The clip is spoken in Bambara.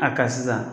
A ka sisan